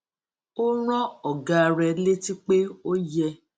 ó rán ògá rẹ létí pé ó yẹ